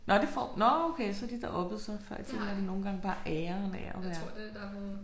Nåh det får nåh okay så har de da oppet sig før i tiden var det nogle gange bare æren af at være